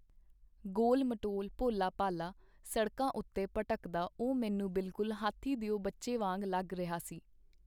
ਗੋਲ-ਮਟੋਲ, ਭੋਲਾ-ਭਾਲਾ, ਸੜਕਾਂ ਉਤੇ ਭਟਕਦਾ ਉਹ ਮੈਨੂੰ ਬਿਲਕੁਲ ਹਾਥੀ ਦਿਓ ਬੱਚੇ ਵਾਂਗ ਲਗ ਰਿਹਾ ਸੀ.